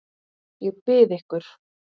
Ég bið ykkur!